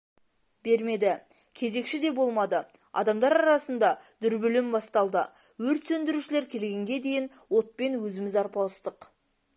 бермеді кезекші де болмады адамдар арасында дүрбелең басталды өрт сөндірушілер келгенге дейін отпен өзіміз арпалыстық